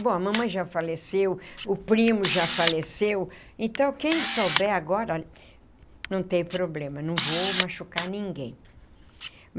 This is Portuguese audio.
Bom, a mamãe já faleceu, o primo já faleceu, então quem souber agora não tem problema, não vou machucar ninguém.